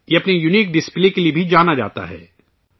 یہ اپنے unique display کے لیے بھی جانا جاتا ہے